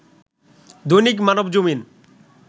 Dainik Manabzamin